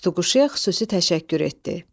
Tutuquşuya xüsusi təşəkkür etdi.